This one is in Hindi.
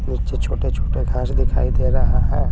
नीचे छोटे छोटे घांस दिखाई दे रहा है।